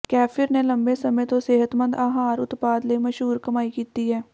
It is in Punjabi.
ਕੇਫ਼ਿਰ ਨੇ ਲੰਮੇ ਸਮੇਂ ਤੋਂ ਸਿਹਤਮੰਦ ਆਹਾਰ ਉਤਪਾਦ ਲਈ ਮਸ਼ਹੂਰ ਕਮਾਈ ਕੀਤੀ ਹੈ